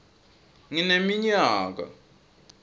ngineminyaka